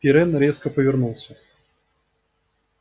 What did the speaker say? пиренн резко повернулся